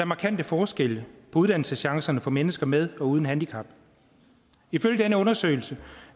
markante forskelle på uddannelseschancerne for mennesker med og uden handicap ifølge den undersøgelse